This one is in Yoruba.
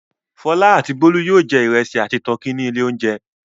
Fọlá àti Bólú yóò jẹ ìrẹsì àti tọkí ní ilé-oúnjẹ.